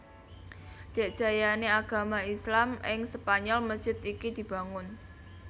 Dhèk jayané Agama Islam ing Spanyol mesjid iki dibangun